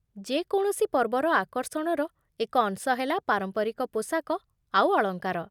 ଯେକୌଣସି ପର୍ବର ଆକର୍ଷଣର ଏକ ଅଂଶ ହେଲା ପାରମ୍ପରିକ ପୋଷାକ ଆଉ ଅଳଙ୍କାର ।